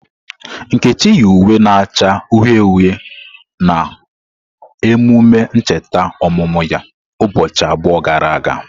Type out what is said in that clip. Nkechi yi uwe na-acha uhie uhie na emume ncheta ọmụmụ ya ụbọchị abụọ gara aga.